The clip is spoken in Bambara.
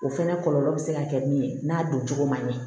O fɛnɛ kɔlɔlɔ bɛ se ka kɛ min ye n'a doncogo ma ɲɛ